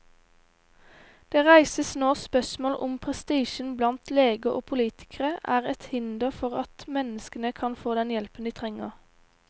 Det reises nå spørsmål om prestisjen blant leger og politikere er et hinder for at mennesker kan få den hjelpen de trenger.